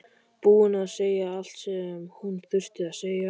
Búin að segja allt sem hún þurfti að segja.